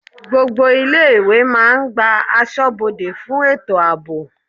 Gbogbo ilé-ìwé máa n gba asọ́bodè fún ètò ààbò.